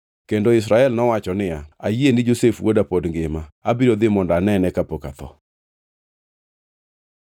Kendo Israel nowacho niya, “Ayie ni Josef wuoda pod ngima. Abiro dhi mondo anene kapok atho.”